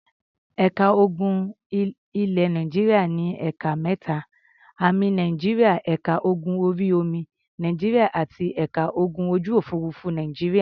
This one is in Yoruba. Ẹ̀ka ogun ilẹ̀ Nàìjíríà ní ẹ̀ka mẹ́ta; Ámì Nàìjíríà, ẹ̀ka ogun orí-omi Nàìjíríà àti ẹ̀ka ogun ojú-òfurufú Nàìjíríà.